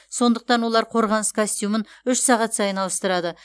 сондықтан олар қорғаныс костюмін үш сағат сайын ауыстырады